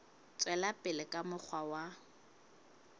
tswela pele ka mokgwa wa